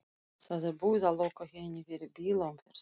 Það er búið að loka henni fyrir bílaumferð!